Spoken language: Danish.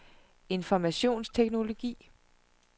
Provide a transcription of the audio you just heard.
informationsteknologi